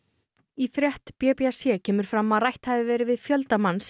í frétt b b c kemur fram að rætt hafi verið við fjölda manns